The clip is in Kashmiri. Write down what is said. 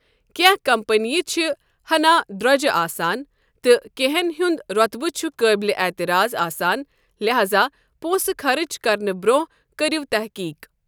کینٛہہ کمپنیہِ چھِ ہَنا درٛۄجہِ آسان تہٕ کینٛہَن ہُند روطبہٕ چھُ قٲبلِ اعتراض آسان لہذا پونسہٕ خرچ کرنہٕ برٛونٛہہ کٔرِو تٔحقیٖق ۔